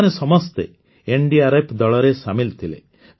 ଏମାନେ ସମସ୍ତେ ଏନଡିଆରଏଫ ଦଳରେ ସାମିଲ ଥିଲେ